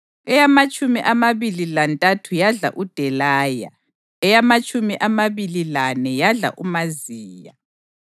eyamatshumi amabili lantathu yadla uDelaya, eyamatshumi amabili lane yadla uMaziya.